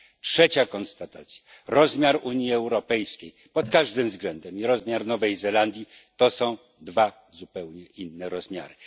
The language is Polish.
Trzecia konstatacja rozmiar Unii Europejskiej pod każdym względem i rozmiar Nowej Zelandii to są dwa zupełnie inne rozmiary.